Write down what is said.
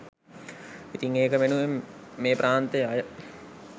ඉතින් ඒක වෙනුවෙන් මේ ප්‍රාන්තෙ අය